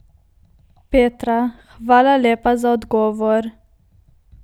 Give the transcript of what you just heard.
Petra: 'Hvala lepa za odgovor.